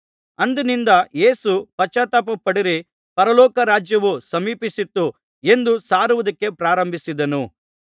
ಅಂದಿನಿಂದ ಯೇಸು ಪಶ್ಚಾತ್ತಾಪಪಡಿರಿ ಪರಲೋಕ ರಾಜ್ಯವು ಸಮೀಪಿಸಿತು ಎಂದು ಸಾರುವುದಕ್ಕೆ ಪ್ರಾರಂಭಿಸಿದನು